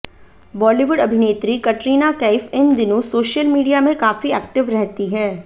बॉलीवुड अभिनेत्री कटरीना कैफ इन दिनों सोशल मीडिया में काफी एक्टिव रहती हैं